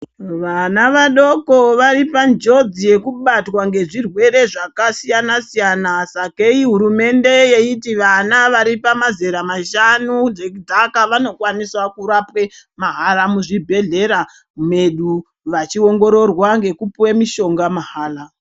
Vana vadoko vari panjodzi yekubatwa ngezvirwere zvakasiyana siyana sakei hurumende yeiti vana vari pamazera mashanu zvechidzaka vanokwaniswa kurapwe mahara muzvibhedhleya medu vachiongororwa ngekupuwa mishonga mahala.